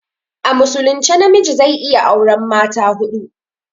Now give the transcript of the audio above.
A musulunce na miji zai iya aure mata huɗu